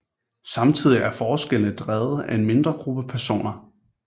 Samtidig er forskellene drevet af en mindre gruppe personer